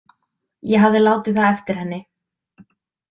Ég hafði látið það eftir henni.